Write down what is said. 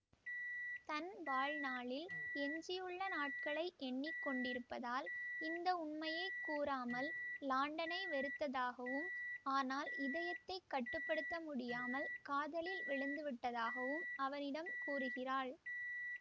தன் வாழ்நாளில் எஞ்சியுள்ள நாட்களை எண்ணி கொண்டிருப்பதால் இந்த உண்மையை கூறாமல் லாண்டனை வெறுத்ததாகவும் ஆனால் இதயத்தை கட்டு படுத்த முடியாமல் காதலில் விழுந்து விட்டதாகவும் அவனிடம் கூறுகிறாள்